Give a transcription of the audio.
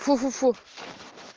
фу-фу-фу